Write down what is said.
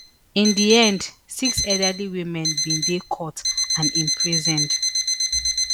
in di end six elderly women bin dey caught and imprisoned